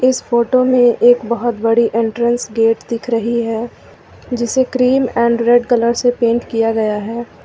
इस फोटो में एक बहोत बड़ी एंट्रेंस गेट दिख रही है जिसे क्रीम एंड रेड कलर से पेंट किया गया है।